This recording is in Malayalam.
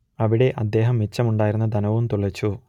അവിടെ അദ്ദേഹം മിച്ചമുണ്ടായിരുന്ന ധനവും തുലച്ചു